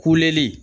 Kuleli